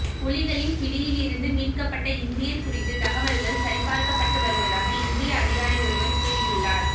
புலிகளின் பிடியிலிருந்து மீட்கப் பட்ட இந்தியர் குறித்து தகவல்கள் சரிபார்க்கப்பட்டு வருவதாக இந்திய அதிகாரி ஒருவர் கூறியுள்ளார்